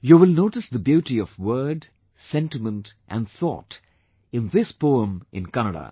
You will notice the beauty of word, sentiment and thought in this poem in Kannada